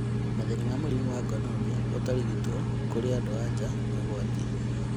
Mathĩna ma mũrimũ wa gonorrhea ũtarigitwo kũrĩ andũ anja nĩ ũgwati